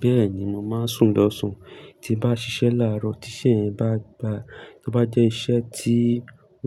Bẹ́ẹ̀ni, mo máa ń sùn lọ́sàn-án, tí bá ṣiṣẹ́ láàárọ̀, tí iṣẹ́ yẹn bá gba, tí ó bá jẹ́ iṣẹ́ tí